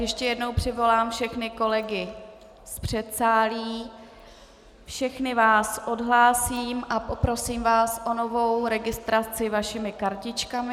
Ještě jednou přivolám všechny kolegy z předsálí, všechny vás odhlásím a poprosím vás o novou registraci vašimi kartičkami.